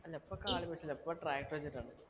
അല്ല ഇപ്പൊ കാളയും പശുവല്ല ഇപ്പൊ tractor വെച്ചിട്ടാണ്